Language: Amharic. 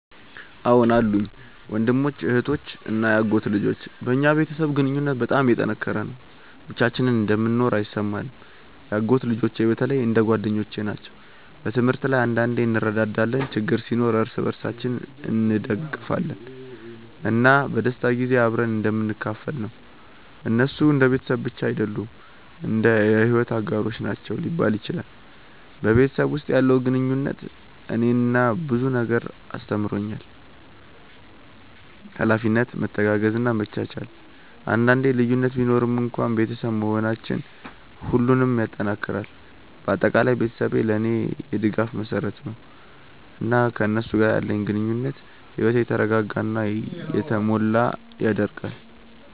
አዎን አሉኝ፤ ወንድሞች፣ እህቶች እና የአጎት ልጆች። በእኛ ቤተሰብ ግንኙነት በጣም የተጠናከረ ነው፣ ብቻችንን እንደምንኖር አይሰማንም። የአጎት ልጆቼ በተለይ እንደ ጓደኞቼ ናቸው። በትምህርት ላይ አንዳንዴ እንረዳዳለን፣ ችግር ሲኖር እርስ በርሳችን እንደግፋለን፣ እና በደስታ ጊዜ አብረን እንደምንካፈል ነው። እነሱ እንደ ቤተሰብ ብቻ አይደሉም፣ እንደ የሕይወት አጋሮች ናቸው ሊባል ይችላል። በቤተሰብ ውስጥ ያለው ግንኙነት እኔን ብዙ ነገር አስተምሮኛል፤ ኃላፊነት፣ መተጋገዝ እና መቻቻል። አንዳንዴ ልዩነት ቢኖርም እንኳን ቤተሰብ መሆናችን ሁሉንም ይጠናክራል። በአጠቃላይ ቤተሰቤ ለእኔ የድጋፍ መሰረት ነው፣ እና ከእነሱ ጋር ያለኝ ግንኙነት ሕይወቴን የተረጋጋ እና የተሞላ ያደርገዋል።